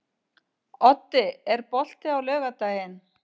Oddi, er bolti á laugardaginn?